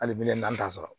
Hali bilen n'an t'a sɔrɔ